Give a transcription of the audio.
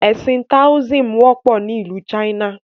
Ẹ̀sìn "Taoism" wọ́pọ̀ ni ìlú China.